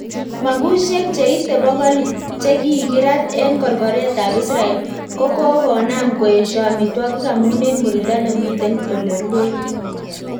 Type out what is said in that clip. Mabusiek cheite bokol chekikirat en korkoret ab Israel ko kokonam koesio amitwagik amun en murindo nemiten ole ruen